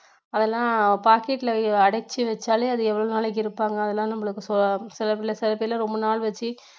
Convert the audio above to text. அதெல்லாம் packet ல அடைச்சி வெச்சாலே அது எவ்வளவு நாளைக்கு இருப்பாங்க அதெல்லாம்நம்மளுக்கு சில சில பேர் எல்லாம் ரொம்ப நாள் வெச்சு